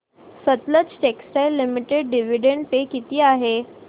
Sutlej textiles limited dividend pay किती आहे